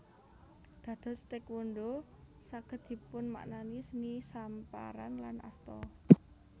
Dados Taékwondho saged dipunmaknani seni samparan lan asta